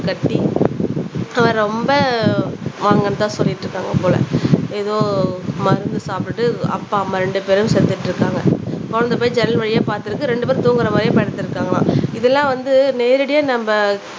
கட்டி அவன் ரொம்ப வாங்கன்னுதான் சொல்லிட்டு இருக்காங்க போல ஏதோ மருந்து சாப்பிட்டுட்டு அப்பா அம்மா ரெண்டு பேரும் செத்துட்டு இருக்காங்க குழந்தை போய் ஜன்னல் வழியா பாத்திருக்கு ரெண்டு பேரும் தூங்குற மாரியே படுத்திருக்காங்களாம் இதெல்லாம் வந்து நேரடியா நம்ம